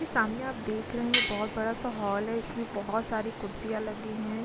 सामने आप देख रहे हैं बहोत बड़ा सा हॉल है इसमें बहोत सारी कुर्सियाँ लगी हैं।